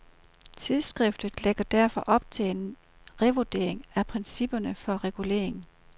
Tidsskriftet lægger derfor op til en revurdering af principperne for regulering.